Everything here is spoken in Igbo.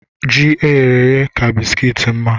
Ji eyere èyé ka bisikiiti mma